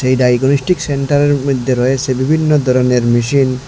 এই ডায়াগনস্টিক সেন্টারয়ের মধ্যে রয়েসে বিভিন্ন ধরনের মেশিন ।